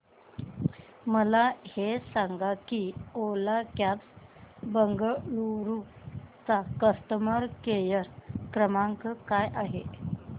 मला हे सांग की ओला कॅब्स बंगळुरू चा कस्टमर केअर क्रमांक काय आहे